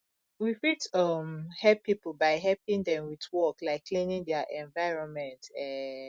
we fit um help pipo by helping them with work like cleaning their environment um